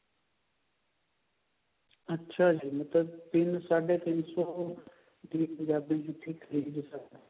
ਅੱਛਾ ਜੀ ਮਤਲਬ ਤਿੰਨ ਸਾਡੇ ਤਿੰਨ ਸੋ ਦੀ ਪੰਜਾਬੀ ਜੁੱਤੀ ਖਰੀਦ ਸਕਦੇ ਹਾਂ